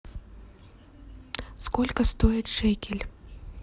сколько стоит шекель